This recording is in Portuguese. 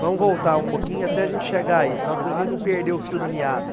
Vamos voltar um pouquinho até a gente chegar aí, só para a gente não perder o fio da miada.